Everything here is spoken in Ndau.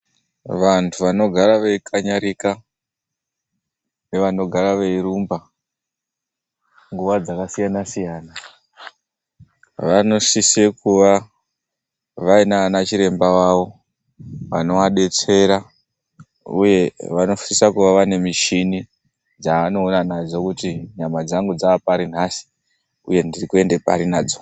Vanthu vanogara veikanyarika nevanogara veirumba, nguva dzakasiyana-siyana, vanosise kuva vainana chiremba vavo vanovadetsera. Uye vanosisa kuva vaine michini dzaanoona nadzo kuti nyama dzangu dzaapari nhasi uye ndiri kuende pari nadzo.